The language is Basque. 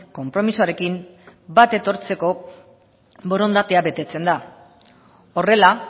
konpromisoarekin bat etortzeko borondatea betetzen da horrela